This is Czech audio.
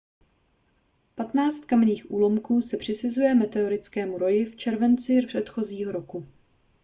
patnáct kamenných úlomků se přisuzuje meteorickému roji z července předchozího roku